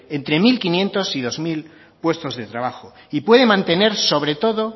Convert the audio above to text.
entre mil quinientos y dos mil puestos de trabajo y puede mantener sobre todo